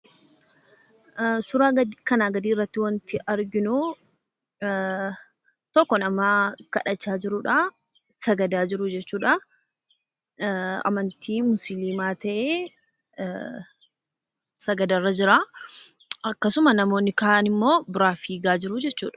Suuraa kanaa gadiirratti kan argamu tokko nama kadhachaa jirudha sagadaa jirudha jechuudha. Amantaa musliimaa ta'ee sagadarraa jira. Akkasuma namoonni kaan immoo fiigaa jiru jechuudha.